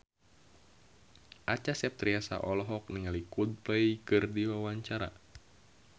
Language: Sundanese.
Acha Septriasa olohok ningali Coldplay keur diwawancara